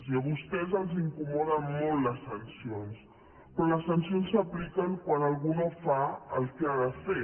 i a vostès els incomoden molt les sancions però les sancions s’apliquen quan algú no fa el que ha de fer